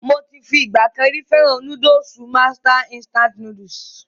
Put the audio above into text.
Mo ti fi ìgbà kan rí fẹ́ràn núdùsù Master Instant Noodles.